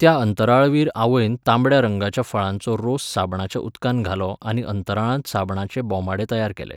त्या अंतराळवीर आवयन तांबड्या रंगाच्या फळांचो रोस साबणाच्या उदकांत घालो आनी अंतराळांत साबणाचे बोमाडे तयार केले.